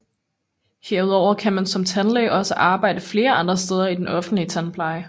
Herudover kan man som tandlæge også arbejde flere andre steder i den offentlige tandpleje